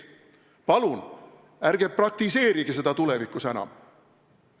Palun ärge praktiseerige seda tulevikus enam!